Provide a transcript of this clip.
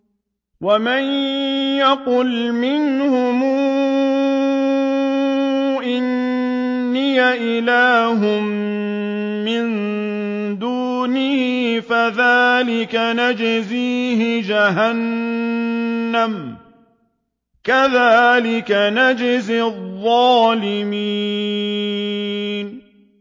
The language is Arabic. ۞ وَمَن يَقُلْ مِنْهُمْ إِنِّي إِلَٰهٌ مِّن دُونِهِ فَذَٰلِكَ نَجْزِيهِ جَهَنَّمَ ۚ كَذَٰلِكَ نَجْزِي الظَّالِمِينَ